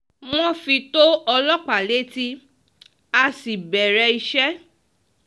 wọ́n fi tó ọlọ́pàá létí a sì bẹ̀rẹ̀ iṣẹ́